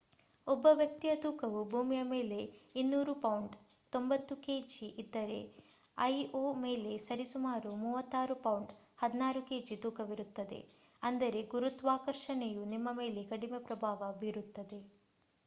ಒಬ್ಬ ವ್ಯಕ್ತಿಯ ತೂಕವು ಭೂಮಿಯ ಮೇಲೆ 200 ಪೌಂಡ್ 90ಕೆಜಿ ಇದ್ದರೆ ಐಒ ಮೇಲೆ ಸರಿ ಸುಮಾರು 36 ಪೌಂಡ್ 16ಕೆಜಿ ತೂಕವಿರುತ್ತಾನೆ. ಅಂದರೆ ಗುರುತ್ವಾಕರ್ಷಣೆಯು ನಿಮ್ಮ ಮೇಲೆ ಕಡಿಮೆ ಪ್ರಭಾವ ಬೀರುತ್ತದೆ